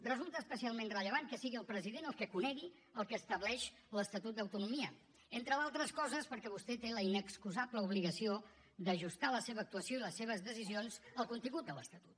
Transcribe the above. resulta especialment rellevant que sigui el president el que conegui el que estableix l’estatut d’autonomia entre d’altres coses perquè vostè té la inexcusable obligació d’ajustar la seva actuació i les seves decisions al contingut de l’estatut